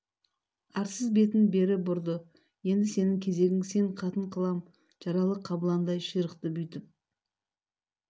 арсыз бетін бері бұрды енді сенің кезегің сен қатын қылам жаралы қабыландай ширықты бүйтіп